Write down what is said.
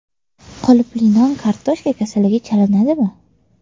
Qolipli non kartoshka kasaliga chalinadimi?.